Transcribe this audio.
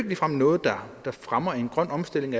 ligefrem noget der fremmer en grøn omstilling